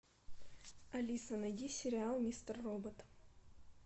алиса найди сериал мистер робот